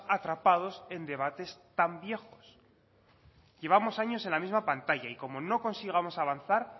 atrapados en debates tan viejos llevamos años en la misma pantalla y como no consigamos avanzar